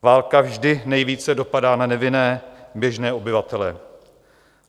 Válka vždy nejvíce dopadá na nevinné běžné obyvatele.